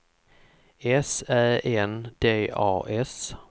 S Ä N D A S